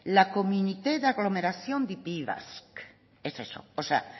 la communauté dagglomération de pays basque es eso o sea